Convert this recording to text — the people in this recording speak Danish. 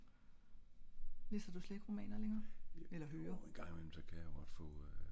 Læser du slet ikke romaner længerer eller høre?